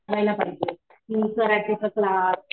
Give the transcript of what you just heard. कळायला पाहिजे